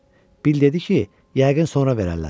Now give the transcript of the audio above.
Bill dedi ki, yəqin sonra verərlər.